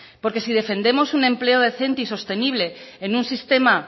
porque si defendemos un empleo decente y sostenible en un sistema